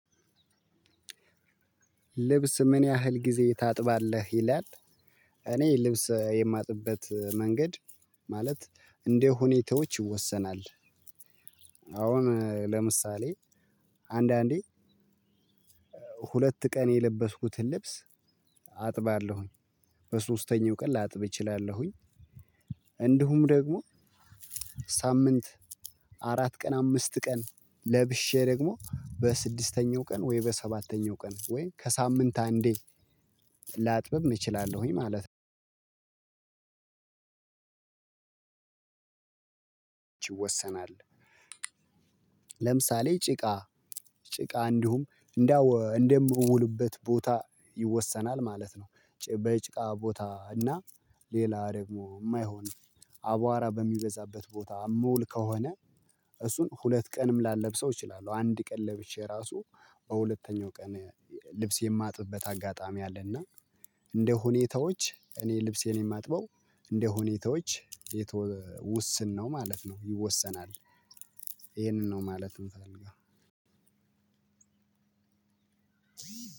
ልብስ ምን ያህል ጊዜ ታጥባለህ ይላል? እኔ ልብስ የማጥብበት መንገድ ማለት እንደ ሁኔታዎች ይወሰናል። አሁን ለምሳሌ አንዳንዴ ሁለት ቀን የለበስኩትን ልብስ አጥባለሁኝ በሶስተኛው ቀን ላጥብ እችላለሁኝ። እንዲሁም ደግሞ ሳምንት አራት ቀን አምስት ቀን ለብሼ ደግሞ በስድስተኛው ቀን ወይ በሰባተኛው ቀን ወይ ከሳምንት አንዴ ላጥብም እችላለሁኝ ማለት ነው ይወሰናል። ለምሳሌ ጭቃ ጭቃ እንዲሁም እንደምውልበት ቦታ ይወሰናል ማለት ነው። በጭቃ ቦታ እና ሌላ ደግሞ የማይሆን አቧራ በሚበዛበት ቦታ ምውል ከሆነ እሱን ሁለት ቀንም ላለብሰው እችላለሁ። አንድ ቀን ለብሼ እራሱ በሁለተኛው ቀን ልብስ የማጥብበት አጋጣሚ አለ። እና እንደ ሁኔታዎች እኔ ልብሴን የማጥበው እንደ ሁኔታዎች ውስን ነው ማለት ነው ይወሰናል። ይሄንን ነው ማለት የምፈልገው።